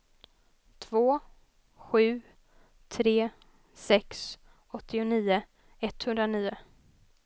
två sju tre sex åttionio etthundranio